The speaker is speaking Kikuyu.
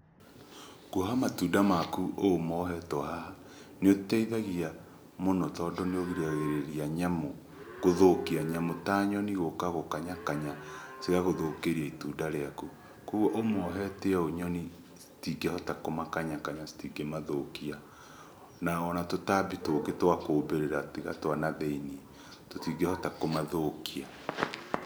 Kuoha matunda maku ũũ mohetwo haha nĩũteithagia mũno, tondũ nĩũrigagĩrĩria nyamũ gũthũkia. Nyamũ ta nyoni gũka gũkanyakanya cigagũthũkĩria itunda rĩaku. Koguo ũmohete ũguo nyoni citingĩhota kũmakanyakanya citingĩmathũkia. Na ona tũtambi tũngĩ twa kũũmbĩrĩra tiga twa na thĩiniĩ tũtingĩhota kũmathũkia.